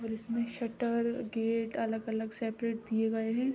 और इसमें shutter gate अलग-अलग सेपरेट दिए गए हैं।